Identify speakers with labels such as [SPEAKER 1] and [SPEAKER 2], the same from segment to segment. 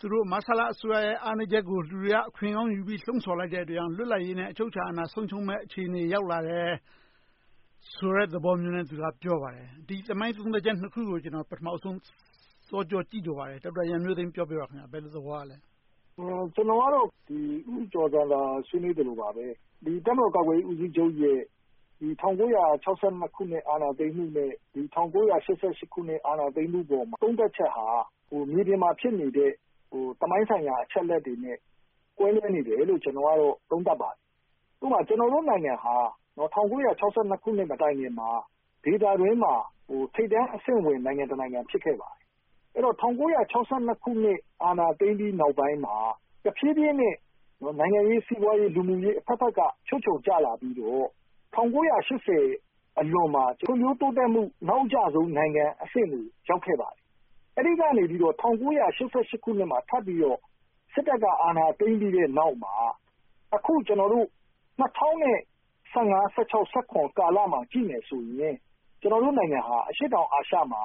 [SPEAKER 1] သူတို့ မဆလ အစိုးရရဲ့ အားနည်းချက်ကို လူတွေက အခွင့်ကောင်းယူပြီး လှုံဆော်လိုက်တဲ့အတွက် လွတ်လပ်ရေးနဲ့ အချုပ်အခြာအာဏာ ဆုံးရှုံးမယ့်အခြေအနေ ရောက်လာတယ်ဆိုတဲ့ သဘောမျိုးနဲ့ ပြောပါတယ်။ ဒီသမိုင်းသုံးသပ်ချက် နှစ်ခုကို ကျနော် ပထမဦးဆုံး စောကြောသိချင်ပါတယ်။ ဒေါက်တာရန်မျိုးသိမ်း ပြောပေးပါ။ ဘယ်လို သဘောရပါလဲ။
[SPEAKER 2] ကျနော်ကတော့ ဦးကျော်ဇံသာ ဆွေးနွေးသလိုပါပဲ တပ်မတော်ကာကွယ်ရေး ဦးစီးချုပ်ရဲ့ ၁၉၆၂ ခုနှစ် အာဏာသိမ်းမှု နဲ့ ၁၉၈၈ အာဏာသိမ်းမှုပေါ်မှာ သုံးသပ်ချက်ဟာ မြေပြင်မှာ ဖြစ်နေတဲ့ သမိုင်းဆိုင်ရာ အချက်အလက်တွေနဲ့ ကွဲပြားနေတယ်လို့ ကျနော်က သုံးသပ်ပါတယ်။ ဥပမာ ကျနော်တို့ နိုင်ငံဟာ ၁၉၆၂ မတိုင်ခင်မှာ ဒေသတွင်းမှာ ထိပ်တန်းအဆင့်ဝင် နိုင်ငံတနိုင်ငံ ဖြစ်ခဲ့ပါတယ်။ အဲဒီတော့ ၁၉၆၂ ခုနှစ် အာဏာသိမ်းပြီးနောက်ပိုင်းမှာ တဖြည်းဖြည်းနဲ့ နိုင်ငံရေး၊ စီးပွားရေး၊ လူမှုရေးအဘက်ဘက်က ချွတ်ခြုံကျလာပြီးတော့ ၁၉၈၀ အလွန်မှာ ဖွံ့ဖြိုးတိုးတက်မှု နောက်အကျဆုံး နိုင်ငံအဆင့်ကို ရောက်ခဲ့ပါတယ်။ အဲဒီကနေ ၁၉၈၈ ခုနှစ်မှာ ထပ်ပြီးတော့ စစ်တပ်က အာဏာသိမ်းပြီးနောက်မှာ အခု ၂၀၁၅-၁၆ -၁၇ ကာလာကို ကြည့်မယ်ဆိုရင် ကျနော်တို့ နိုင်ငံဟာ အရှေ့တောင်အာရှမှာ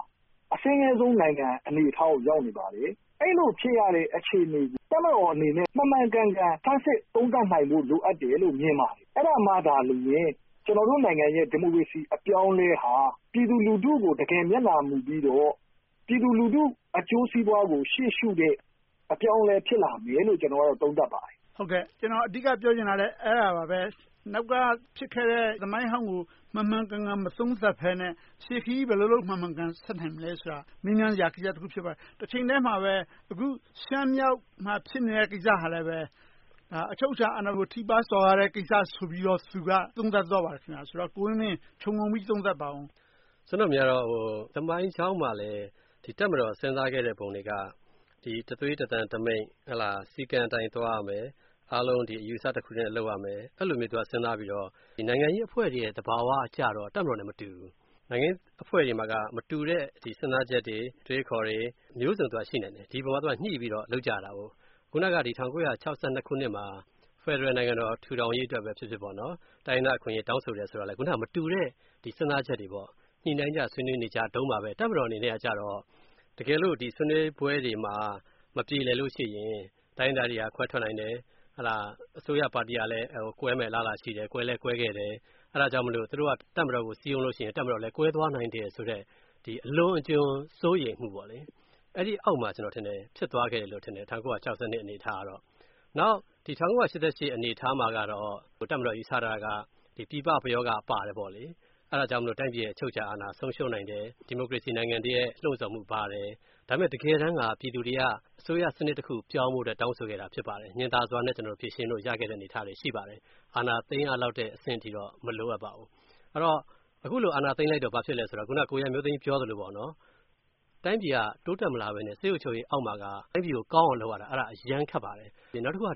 [SPEAKER 2] အဆင်းရဲဆုံးနိုင်ငံ အနေအထားကို ရောက်နေပါတယ်။ အဲဒီလို ဖြစ်နေရတဲ့ အခြေအနေကို တပ်မတော်အနေနဲ့ မှန်မှန်ကန်ကန် သုံးသပ်စမ်းစစ်နိုင်ဖို့ လိုအပ်တယ်လို့ မြင်ပါတယ်။ အဲဒါမှသာလျှင် ကျနော်တို့နိုင်ငံရဲ့ ဒီမိုကရေစီ အပြောင်းအလဲဟာ ပြည်သူလူထုကို တကယ် မျက်နှာမူပြီးတော့၊ ပြည်သူလူထု အကျိုးစီးပွားကို ရှေ့ရှုတဲ့ အပြောင်းအလဲ ဖြစ်လာမယ်လို့ သုံးသပ်ပါတယ်။
[SPEAKER 1] ကျနော် အဓိက ပြောချင်တာလဲ အဲဒါပါပဲ။ နောက်ကဖြစ်ခဲ့တဲ့ သမိုင်းဟောင်းကို မှန်မှန်ကန်ကန် မသုံးသပ်ဘဲနဲ့ ရှေ့ခရီး ဘယ်လိုဆက်နိုင်မလဲဆိုတာ မေးမြန်းစရာကိစ္စတခု ဖြစ်ပါတယ်။ တချိန်တည်းမှာပဲ အခု ရှမ်းမြောက်မှာ ဖြစ်နေတဲ့ကိစ္စဟာလဲ အချုပ်အခြာအာဏာကို ထိပါးစော်ကားတဲ့ကိစ္စဆိုပြီးတော့ သူက သုံးသပ်သွားပါတယ်။ ကိုဝင်းမင်း ခြုံငုံပြီး သုံးသပ်ပါအုံး။
[SPEAKER 3] ကျနော့်အမြင်ကတော့ သမိုင်းကြောင်းမှာလဲ တပ်မတော် စဉ်းစားခဲ့တဲ့ပုံတွေက တသွေးတသံတမိန့် စည်းကမ်းအတိုင်း သွားရမယ်။ အားလုံးအယူအဆတခုတည်းနဲ့ လုပ်ရမယ်။ အဲဒီလိုမျိုး စဉ်းစားပြီးတော့ နိုင်ငံရေးအဖွဲ့အစည်းတွေ သဘာဝကြတော့ တပ်မတော်နဲ့ မတူဘူး။ နိုင်ငံရေးအဖွဲ့တွေမှာတော့ မတူတဲ့ စဉ်းစားချက်တွေ၊ အတွေးအခေါ်တွေ မျိုးစုံရှိနိုင်တယ်။ ဒီအပေါ်မှာညှိပြီးတော့ လုပ်ကြတယ်။ အခုန ၁၉၆၂ ခုနှစ်မှာ ဖယ်ဒရယ်နိုင်ငံတော် ထူထောင်ရေးအတွက်ဖြစ်ဖြစ် တိုင်းရင်းသားအခွင့်အရေး တောင်းဆိုတယ်ဆိုတာ မတူတဲ့ စဉ်းစားချက်တွေ ညှိနှိုင်းကြ ဆွေးနွေးကြတုန်းမှာပဲ တပ်မတော်အနေနဲ့က တကယ်လို့ ဆွေးနွေးပွဲတွေမှာ မပြေလည်လိုရှိရင် တိုင်းရင်းသားတွေက ခွဲထွက်နိုင်တယ်။ အစိုးရပါတီက ကွဲမယ့်အလားအလာရှိတယ်။ ကွဲလည်းကွဲခဲ့တယ်။ အဲဒါကြောင့်မို့ သူတို့က တပ်မတော်ကို စည်းရုံးလို့ရှိရင် တပ်မတော်လည်း ကွဲသွားနိုင်တယ်ဆိုတဲ့ အလွန်အကျွံ စိုးရိမ်မှုအောက်မှာ ဖြစ်သွားတယ်လို့ ကျနော်ထင်တယ်။ ၁၉၆၂ ခုနှစ် အနေအထားက။ နောက် ၁၉၈၈ အနေအထားမှာတော့ တပ်မတော် ယူဆတာက ပြည်ပ ပရောဂ ပါတယ်။ အဲဒါကြောင့်မို့ တိုင်းပြည်ရဲ့ အချုပ်အခြာအာဏာ ဆုံးရှုံးနိုင်တယ်။ ဒီမိုကရေစီနိုင်ငံတွေရဲ့ လှုံဆော်မှုပါတယ်။ ဒါပေမဲ့ တကယ်တမ်းက ပြည်သူတွေက အစိုးရစနစ်တခုပြောင်းဖို့ တောင်းဆိုခဲ့တာ ဖြစ်ပါတယ်။ ညှင်သာစွာနဲ့ ဖြေရှင်းလို့ရတဲ့ အနေအထားလည်း ရှိပါတယ်။ အာဏာသိမ်းရမယ့် အဆင့်အထိတော့ မလိုအပ်ပါဘူး။ အဲဒီတော့ အခုလို အာဏာသိမ်းလိုက်တော့ ဘာဖြစ်လဲဆိုတော့ ကိုရန်မျိုးသိမ်း ပြောသလို တိုင်းပြည်က တိုးတက်မလာဘဲ၊ စစ်အုပ်ချုပ်ရေးအောက်မှာ တိုင်းပြည်ကို ကောင်းအောင်လုပ်ရတာ အရမ်းခက်ပါတယ်။ နောက်တခုက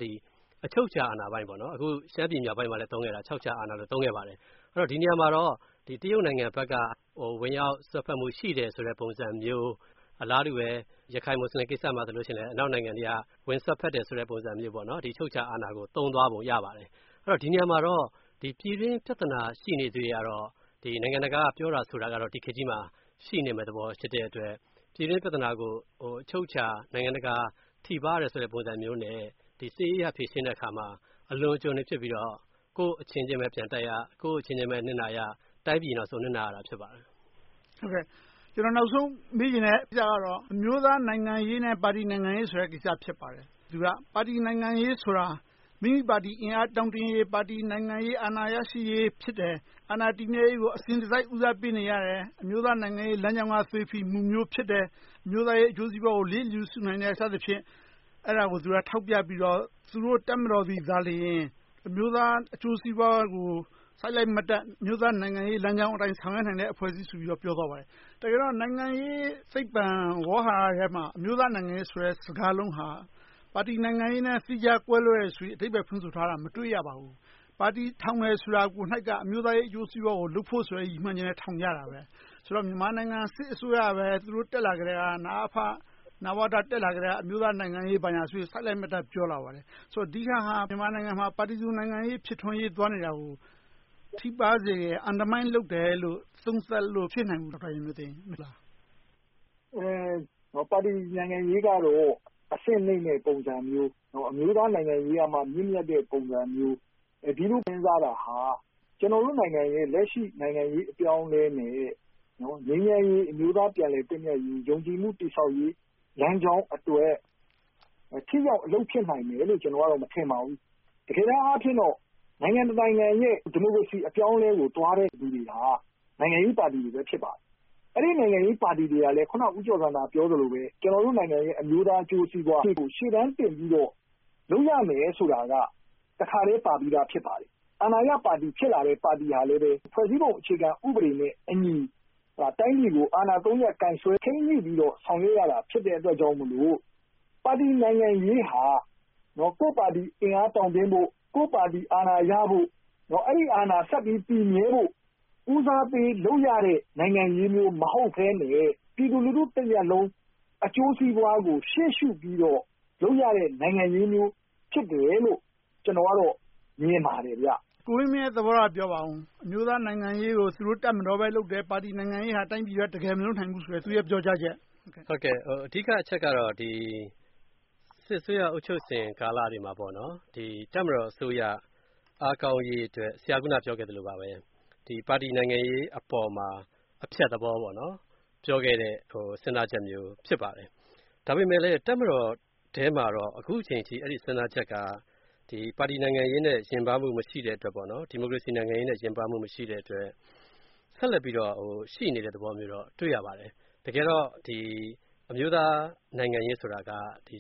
[SPEAKER 3] အချုပ်အခြာ အာဏာပိုင်းမှာ အခု ရှမ်းပြည်မြောက်ပိုင်းကို အချုပ်အခြာအာဏာဆိုပြီး သုံးခဲ့ပါတယ်။ ဒီနေရာမှာတော့ တရုတ်နိုင်ငံဘက်က ဝင်ရောက်စွက်ဖက်မှု ရှိတယ်ဆိုတဲ့ ပုံစံမျိုး။ အလားတူပဲ ရခိုင် မူစလင်ကိစ္စမှာလဲ အနောက်နိုင်ငံတွေက ဝင်စွက်ဖက်တယ်ဆိုတဲ့ ပုံစံမျိုး အချုပ်အခြာအာဏာကို သုံးသွားပုံရပါတယ်။ ဒီနေရာမှာတော့ ပြည်တွင်းပြဿနာ ရှိနေသရွေ့တော့ နိုင်ငံတကာက ပြောတာဆိုတာကတော့ ဒီခေတ်ကြီးမှာ ရှိနေတဲ့အတွက် ပြည်တွင်းပြဿနာကို နိုင်ငံတကာ ထိပါးတယ်ဆိုတဲ့သဘောနဲ့ စစ်ရေးအရ ဖြေရှင်းတဲ့အခါမှာ အလွန်အကျွံတွေ ဖြစ်ပြီးတော့ ကိုယ့်အချင်းချင်းပဲ ပြန်တိုက်ရ၊ ကိုယ့်အချင်းချင်းပဲ နစ်နာရ။ တိုင်းပြည်နောက်ဆုံးတော့ နစ်နာရတာ ဖြစ်ပါတယ်။
[SPEAKER 1] ကျနော် နောက်ဆုံးမေးချင်တာကတော့ အမျိုးသားနိုင်ငံရေး နဲ့ ပါတီနိုင်ငံရေးဆိုတဲ့ ကိစ္စ ဖြစ်ပါတယ်။ သူက ပါတီနိုင်ငံရေးဆိုတာ မိမိပါတီ အင်အားတောင့်တင်းရေး၊ ပါတီ နိုင်ငံရေးအာဏာ ရရှိရေးဖြစ်တယ်။ အာဏာတည်မြဲရေးကို အစဉ်တစိုက် ဦးစားပေးနေရတယ်။ အမျိုးသားနိုင်ငံရေး လမ်းကြောင်းက သွေးဖီမှုမျိုး ဖြစ်တယ်။ အမျိုးသားရေး အကျိုးစီးပွားကို လစ်လျူရှုနိုင်တယ် စသဖြင့် အဲဒါတွေကို ထောက်ပြပြီးတော့ သူတို့ တပ်မတော်သည်သာလျှင် အမျိုးသားအကျိုးစီးပွားကို စိုက်လိုက်မတ်တပ် အမျိုးသားနိုင်ငံရေးလမ်းကြောင်းအတိုင်း ဆောင်ရွက်နိုင်တဲ့ အဖွဲ့အစည်းဆိုပြီး ပြောသွားပါတယ်။ တကယ်တော့ နိုင်ငံရေးသိပ္ပံ ဝေါဟာရထဲမှာ အမျိုးသားနိုင်ငံရေးဆိုတဲ့ စကားလုံးဟာ ပါတီနိုင်ငံရေးနဲ့ သီးခြားကွဲလွဲတယ်ဆိုပြီး အဓိပ္ပါယ်ဖွင့်ဆိုထားတာ မတွေ့ရပါဘူး။ ပါတီထောင်တယ်ဆိုတာကိုက အမျိုးသားရေး အကျိုးစီးပွားရေးကို လုပ်ဖို့ဆိုတဲ့ ရည်ရွယ်ချက်နဲ့ ထောင်ကြတာပဲ။ ဆိုတော့ မြန်မာနိုင်ငံ စစ်အစိုးရကတော့ သူတို့ တက်လာကတည်းက နဝတ၊ နအဖ တက်လာကတည်းက အမျိုးသားနိုင်ငံရေး ဘာညာဆိုပြီး စိုက်လိုက်မတ်တပ် ပြောလာပါတယ်။ ဆိုတော့ ဒီဟာက မြန်မာနိုင်ငံမှာ ပါတီစုံ နိုင်ငံရေး ဖြစ်ထွန်းရေး သွားနေတာကို ထိပါးစေတယ်။ Undermine လုပ်တယ်လို့ သုံးသပ်လို့ မဖြစ်နိုင်ဘူးလား။
[SPEAKER 2] ပါတီနိုင်ငံရေးကတော့ အဆင့်နိမ့်တဲ့ ပုံစံမျိုး၊ အမျိုးသားနိုင်ငံရေးကမှ မြင့်မြတ်တဲ့ ပုံစံမျိုး။ အဲဒီလို စဉ်းစားတာဟာ ကျနော်တို့နိုင်ငံရဲ့ လက်ရှိ နိုင်ငံရေးအပြောင်းအလဲနဲ့ ငြိမ်းချမ်းရေး၊ အမျိုးသားပြန်လည်သင့်မြတ်ရေး၊ ယုံကြည်မှုတည်ဆောက်ရေး လမ်းကြောင်းအတွက် ထိရောက်အလုပ်ဖြစ်နိုင်တယ်လို့ မထင်ပါဘူး။ တကယ်တမ်းအားဖြင့်တော့ နိုင်ငံတနိုင်ငံရဲ့ ဒီမိုကရေစီ အပြောင်းအလဲကိုသွားတဲ့ လူတွေဟာ နိုင်ငံရေးပါတီတွေပဲ ဖြစ်ပါတယ်။ အဲဒီလိုပဲ နိုင်ငံရေးပါတီတွေကလည်း အခုန ဦးကျော်ဇံသာ ပြောသလို နိုင်ငံရဲ့ အမျိုးသားအကျိုးစီးပွားကို ရှေ့တန်းတင်ပြီးတော့ လုပ်ရမယ်ဆိုတာက တခါတည်းပါပြီသာ ဖြစ်ပါတယ်။ အာဏာရပါတီ ဖြစ်လာတဲ့ ပါတီကလဲ ဖွဲ့စည်းပုံ အခြေခံဥပဒေနဲ့အညီ တိုင်းပြည်ကို အာဏာသိမ်းမှုကို ထိန်းညှိပြီးတော့ ဆောင်ရွက်ရတာ ဖြစ်တဲ့အတွက်ကြောင့်မို့ ပါတီနိုင်ငံရေးဟာ ကိုယ့်ပါတီ အင်အားတောင့်တင်းဖို့၊ ကိုယ့်ပါတီ အာဏာရဖို့၊ အဲဒီ အာဏာဆက်ပြီး တည်မြဲဖို့ ဦးစားပေးလုပ်ရတဲ့ နိုင်ငံရေးမျိုး မဟုတ်ဘဲနဲ့ ပြည်သူလူထုတရပ်လုံးရဲ့ အကျိုးစီးပွားကို ရှေ့ရှုပြီးတော့ လုပ်ရတဲ့ နိုင်ငံရေးမျိုးဖြစ်တယ်လို့ ကျနော်ကတော့ မြင်ပါတယ်။
[SPEAKER 1] ကိုဝင်းမင်းရဲ့ သဘောထားကို ပြောပါအုံး။ အမျိုးသားနိုင်ငံရေးကို သူတို့ တပ်မတော်ပဲလုပ်တယ်။ ပါတီနိုင်ငံရေးဟာ တိုင်းပြည်အတွက် တကယ်မလုပ်နိုင်ဘူးဆိုတဲ့ သူ့ရဲ့ ပြောကြားချက်။
[SPEAKER 3] အဓိကအချက်ကတော့ စစ်အစိုးရ အုပ်ချုပ်စဉ်ကာလတွေမှာ တပ်မတော်အစိုးရ အားကောင်းရေးအတွက် ဆရာ အခုနပြောခဲ့သလိုပဲ ပါတီနိုင်ငံရေးအပေါ်မှာ အဖျက်သဘော ပြောခဲ့တဲ့ စဉ်းစားချက်မျိုး ဖြစ်ပါတယ်။ ဒါပေမဲ့လဲ တပ်မတော်ထဲမှာတော့ အခုအချိန်အထိ စဉ်းစားချက်က ပါတီနိုင်ငံရေးနဲ့ နီးစပ်မှုမရှိတဲ့အတွက်၊ ဒီမိုကရေစီနိုင်ငံရေးနဲ့ ရင်ပါးမှုမရှိတဲ့အတွက် ဆက်လက်ပြီးတော့ ရှိနေတဲ့သဘောမျိုးတော့ တွေ့ရပါတယ်။ တကယ်တော့ အမျိုးသားနိုင်ငံရေးဆိုတာက နို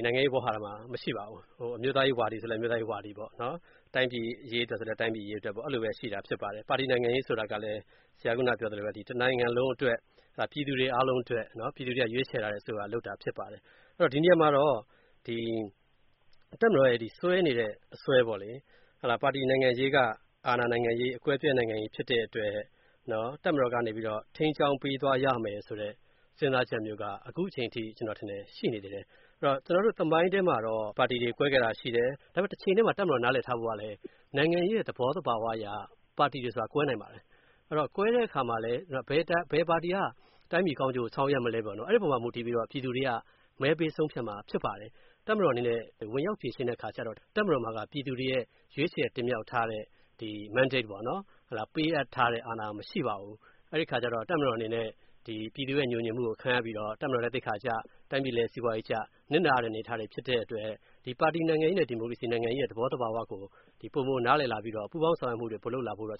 [SPEAKER 3] င်ငံရေးဝေါဟာရမှာ မရှိပါဘူး။ အမျိုးသားရေးဝါဒီဆိုလဲ အမျိုးသားရေးဝါဒီပေါ့။ တိုင်းပြည်အရေးအတွက်ဆိုလဲ တိုင်းပြည်အရေးအတွက်ပေါ့။ အဲဒီလိုပဲ ရှိပါတယ်။ ပါတီနိုင်ငံရေးဆိုတာ ဆရာ အခုနပြောသလိုပါပဲ တနိုင်ငံလုံးအတွက်၊ ပြည်သူတွေအားလုံးအတွက် ပြည်သူတွေက ရွေးချယ်ထားတဲ့ အစိုးရက လုပ်တာဖြစ်ပါတယ်။ ဒီနေရာမှာတော့ တပ်မတော်ရဲ့ စွဲနေတဲ့ အစွဲက ပါတီနိုင်ငံရေးက အာဏာနိုင်ငံရေး၊ အကွဲအပြဲ နိုင်ငံရေး ဖြစ်တဲ့အတွက် တပ်မတော်ကနေ ထိန်းကြောင်းပေးသွားရမယ်ဆိုတဲ့ စဉ်းစားချက်မျိုးက အခုအချိန်အထိ ရှိနေသေးတယ်။ ကျနော်တို့ သမိုင်းထဲမှာတော့ ပါတီတွေ ကွဲခဲ့တာ ရှိတယ်။ ဒါပေမဲ့ တချိန်တည်းမှာ တပ်မတော် နားလည်ထားဖို့က နိုင်ငံရေးရဲ့ သဘောသဘာဝအရ ပါတီတွေဆိုတာ ကွဲနိုင်ပါတယ်။ ကွဲတဲ့အခါမှာလဲ ဘယ်ပါတီက တိုင်းပြည်ကောင်းကျိုးကို ဆောင်ရွက်မလဲ။ အဲဒီအပေါ် မူတည်ပြီးတော့ ပြည်သူတွေက မဲပေးဆုံးဖြတ်မှာ ဖြစ်ပါတယ်။ တပ်မတော်အနေနဲ့ ဝင်ရောက်ဖြေရှင်းတဲ့အခါကြတော့ တပ်မတော်မှာက ပြည်သူတွေ ရွေးချယ်တင်မြှောက်ထားတဲ့ Mandate ပေးအပ်ထားတဲ့ အာဏာမရှိပါဘူး။ အဲဒီအခါကြတော့ တပ်မတော်အနေနဲ့ ပြည်သူရဲ့ ငြိုငြင်မှုကို ခံရပြီးတော့ တပ်မတော်လည်း သိက္ခာကျ၊ တိုင်းပြည်လည်း စီးပွားရေးကျ နစ်နာရတဲ့ အနေအထားတွေ ဖြစ်တဲ့အတွက် ပါတီနိုင်ငံရေး နဲ့ ဒီမိုကရေစီ နိုင်ငံရေး သဘောသဘာဝကို ပိုမိုနားလည်ပြီးတော့ ပူးပေါင်းဆောင်ရွက်မှုတွေ ပိုလုပ်လာဖို့တော့